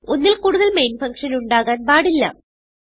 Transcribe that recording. ഒന്നിൽ കൂടുതൽ main function ഉണ്ടാകാൻ പാടില്ല